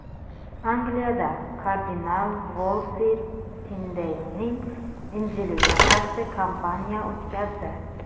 Angliyada kardinal Volsi Tindeylning Injiliga qarshi kampaniya o‘tkazdi.